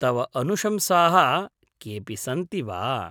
तव अनुशंसाः केऽपि सन्ति वा?